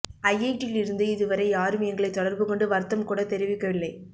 ஐஐடியில் இருந்து இதுவரை யாரும் எங்களை தொடர்பு கொண்டு வருத்தம் கூட தெரிவிக்கவில்லை